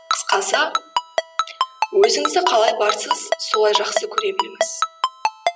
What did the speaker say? қысқасы өзінізді қалай барсыз солай жақсы көре біліңіз